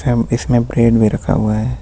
इसमें ब्रेड भी रखा हुआ है.